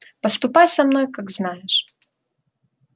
поступай со мной как знаешь